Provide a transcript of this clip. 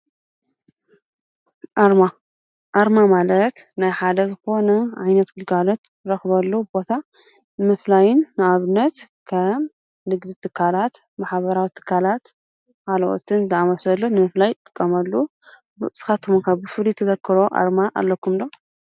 ኣርማ :-ኣርማ ማለት ናይ ሓደ ዝኾነ ዓይነት ግልጋሎት እንረክበሉ ቦታ ንምፍላይን ንኣብነት ከም ንግዲ ትካላት፣ ማሕበራዊ ትካላት ካልኦትን ዝአመሰሉ ንምፍላይ ዝጥቀመሉ፡፡ ንስካትኩም ከ ብፍሉይ እትዝክርዎ ኣርማ ኣለኩም ዶ?